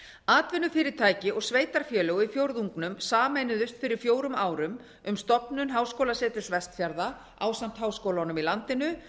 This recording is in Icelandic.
atvinnufyrirtæki og sveitarfélög í fjórðungnum sameinuðust fyrir fjórum árum um stofnun háskólaseturs vestfjarða ásamt háskólunum í landinu